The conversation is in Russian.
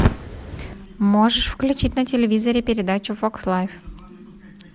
можешь включить на телевизоре передачу фокс лайф